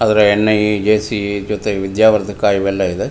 ಆದರೆ ಎಣ್ಣೆಗೆ ಜೆಸ್ಸಿಗೆ ಜೊತೆಗ್ ವಿದ್ಯಾವರ್ಧಕ ಇವೆಲ್ಲ ಇದೆ.